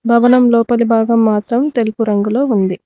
భవనం లోపలి భాగం మాత్రం తెలుపు రంగులో ఉంది.